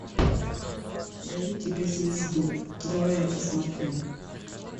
дарю тебе звезду давай я посмотрю